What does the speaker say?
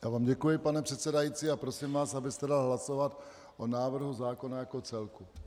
Já vám děkuji, pane předsedající, a prosím vás, abyste dal hlasovat o návrhu zákona jako celku.